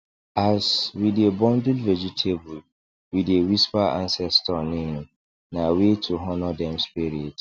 as we dey bundle vegetable we dey whisper ancestor name na way to honor dem spirit